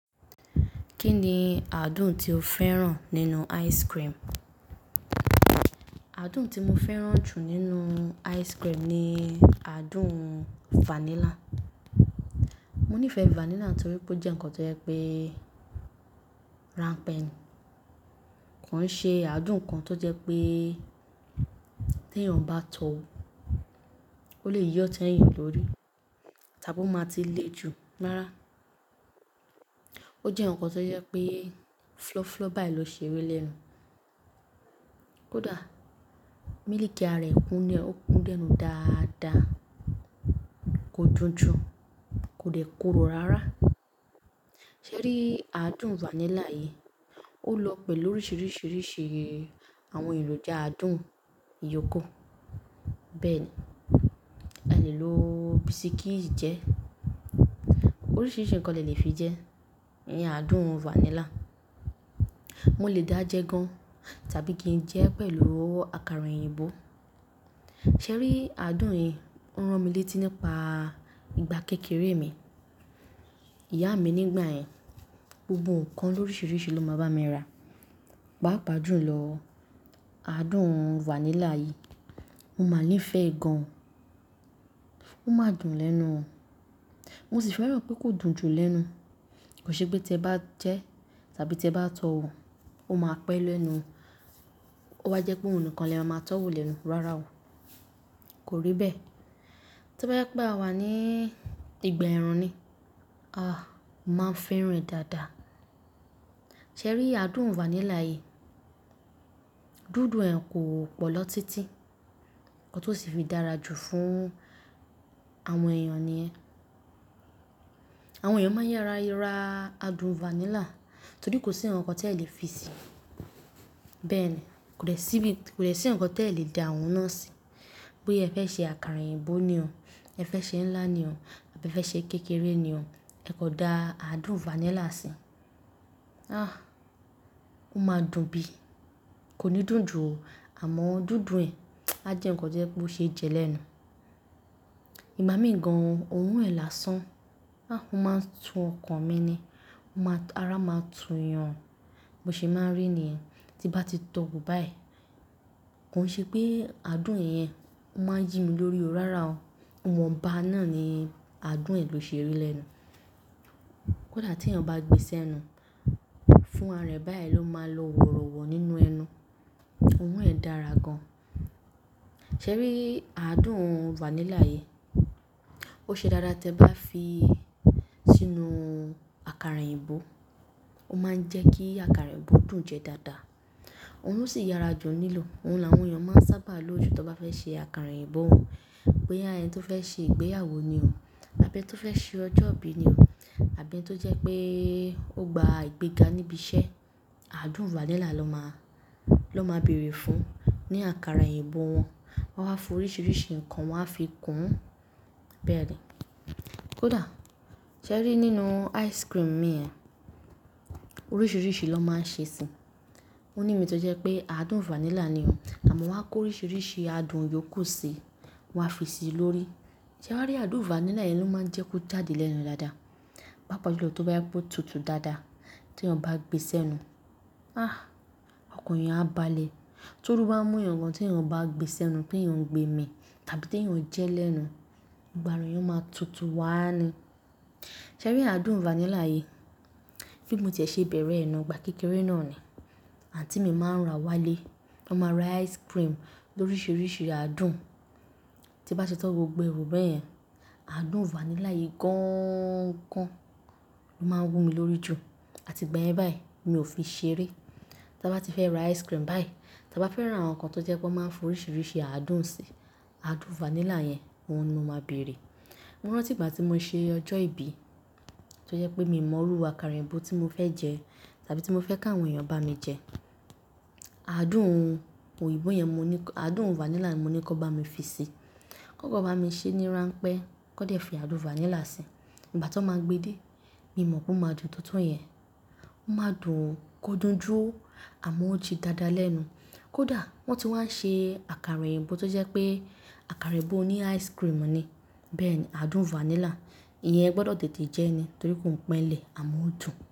Kí ni adùn tí o fẹ́ràn nínú ice cream? Adùn tí mo fẹ́ràn jù nínú ice cream ni adùn vanilla. Mo nífẹ̀ẹ́ vanilla torí pé ó jẹ́ ǹkan tó jẹ́ pé ránpẹ́, ko un ṣe adùn kan tó jẹ́ pé tí èèyàn bá tọ́ wo ó lè y'ota ẹyin lórí, tàbí ó máa ti le ju rará. Ó jẹ́ ǹkan tó jẹ́ pé fúlọ́fúlọ́ báyìí ló ṣe rí lẹ́nu. Kódà mílìkì ara rẹ̀ kún ni, ó kún léènu dáadáa, kò dunjun, kò dẹ̀ koró rárá. Sẹ́rí aadùn vanilla yìí, ó lọ pẹ̀lú oríṣiríṣi àwọn ìlòjà adùn iyókù. Bẹ́ẹ̀ ni, ẹ lè lo bisikíìtì jẹ́. Oríṣiríṣi ǹkan lè lè fi jẹ́, iyen adùn vanilla. Mo lè dáa jẹ gan tàbí kí n jẹ́ pẹ̀lú àkàrà òyìnbó. Sẹ́rí adùn yìí o rán mi létí nípa ìgbà kékeré mi. Ìyá mi nígbà yẹn, gbogbo ǹkan lóriṣiríṣi ló máa ń bá mi rà. Paápá jù lọ, adùn vanilla yìí, mo máa níìfẹ́ e gan. Ó máa dùn lẹ́nu. Mo sì fẹ́ràn pé kò dùn jù lẹ́nu. Kò ṣe pé tí ẹ bá jẹ́ tàbí tí ẹ bá tọ̀ wo, ó máa pẹ́ lẹ́nu. Ó wa jẹ́ pé ohun nìkan ni le máa ma tọ́ wò lẹ́nu rárá o. Kò rí bẹ́ẹ̀. Tobá jẹ pé àwa ní ìgbà ẹ̀rùn ni, ah! Mo ma n fẹ́ràn e dáadáa. Sẹ́rí adùn vanilla yìí, dùndùn rẹ̀ kò pọ̀ lọ títí, nkan to sì fi dára jù fún àwọn èèyàn nìyẹn. Àwọn èèyàn máa ń yara ra adùn vanilla torí kò sí ǹkan tí ẹ lè fi se. Bẹ́ẹ̀ ni, kò dè sí bí, kò dè sí ǹkankan tí ẹ lè dà òun náà sí. Bóya ẹ fẹ́ ṣe àkàrà òyìnbó ni o, ẹ fẹ́ ṣe ńlá ni o, àbí ẹ fẹ́ ṣe kékeré ni o, ẹ kò dá adùn vanilla sí i. Ah! Ó máa dùn bí i, kò ní dùn jù o, àmọ́ dùndùn rẹ̀, á jẹ́ ǹkan tó jẹ́ pé ó ṣe é jẹ́ lẹ́nu. Ìgbá mi gan, òorun ń làásán, ah! Ó máa ń tú ọkàn mi ni, ó máa-- ara máa tú eyan. Bo se máa ń rí yẹn, tí nbá ti tọ́ wò báyìí. Ko n ṣe pé adùn yẹn, ó máa ń yi mi lórí o rárá o. Iwonba náà ni adùn rẹ̀ ló ṣe rí lẹ́nu. Kódà tí èèyàn bá gbe sẹ́nu, fún ara rẹ̀ báyìí ló máa lọ wọ̀rọ̀wọ̀ nínú ẹnu. Òorun ẹ dára gan. Sẹ́rí aadùn vanilla yìí, ó ṣe dáadáa tí ẹ bá fi sínú àkàrà òyìnbó. Ó máa ń jẹ́ kí àkàrà òyìnbó dùn jẹ dáadáa. Òun ló sì yára jù n lilò. Òun làwọn èèyàn máa ń sábà lojú tí wọ́n bá fẹ́ ṣe àkàrà òyìnbó wọn. Bóyá ẹni tó fẹ́ ṣe ìgbéyàwó ni o, àbí ẹni tó fẹ́ ṣe ọjọ́ ìbí ni o, àbí ẹni tó jẹ́ pé ó gba ìgbéga níbi iṣẹ́, adùn vanilla ló máa, ló máa bèrè fún ní àkàrà òyìnbó wọn. Wọ́n á fi oríṣiríṣi ǹkan wọ́n á fi kùn ún. Bẹ́ẹ̀ ni. Kódà, ṣé rí nínú ice cream mi ẹ, oríṣiríṣi lọ máa ń ṣe sì í. Ó ní ìmi tó jẹ́ pé adùn vanilla ni o, àmọ́ wọ́n á kó oríṣiríṣi adùn iyókù sí i, wọ́n á fi sí i lórí. Sẹ́ wa rí adùn vanilla yìí ló máa ń jẹ́ kó jáde lẹ́nu dáadáa. Pápá jù lọ tí ó bá yẹ kó tutù dáadáa, tí èèyàn bá gbèsé ẹnu, ah! Ọkàn èèyàn á balẹ̀. Torú bá mú yaǹ gan tí èèyàn bá gbèsé ẹnu kí èèyàn gbé mí tàbí tí èèyàn jẹ́ lẹ́nu, gbogbo àra ẹ̀eyan máa tutù wá ni. Sẹ́rí adùn vanilla yìí, bí mo ti e ṣe bẹ̀rẹ̀ ẹ náà gbà kékeré náà ni, àǹtí mi máa ń ra wálé. Wọ́n máa ra ice cream lóríṣiríṣi adùn. Ti n bá ti tọ́ gbogbo è wò bẹ́ẹ̀ yẹn, adùn vanilla yìí gań-an gan ló máa ń wúmi lórí jù. Àti gba yẹn báyìí, mi ò fi ṣeré. Ti a bá ti fẹ́ ra ice cream báyìí, ti a bá fẹ́ ra awoǹ kan tó jẹ́ pé wọ́n máa ń fi oríṣiríṣi adùn sí i, adùn vanilla yẹn, òun ni mo máa bèrè. Mo rántí ìgbà tí mo ṣe ọjọ́ ìbí, tí ó jẹ́ pé mi mọ̀ óru àkàrà òyìnbó tí mo fẹ́ jẹ tàbí tí mo fẹ́ kí àwọn èèyàn bá mi jẹ. Adùn òyìnbó yẹn mo ní kọ-- adùn vanilla ni mo ní kí wọ́n bá mi fi sí i. Kankan bá mi ṣe ní ránpẹ́, kan dẹ̀ fi adùn vanilla sí i. Ìgbà tan máa gbé dé, mi mọ̀ pé ó máa dùn tó to yẹn. Ó máa dùn kò dunjú, àmọ́ ó jí dáadáa léẹnu. Kódà wọ́n ti wá n ṣe àkàrà òyìnbó tó jẹ́ pé àkàrà òyìnbó oní ice cream ni. Bẹ́ẹ̀ ni adùn vanilla, ìyẹn e gbọdọ̀ tètè jẹ́ ni torí kò n pe n lẹ, àmọ́ ó dùn.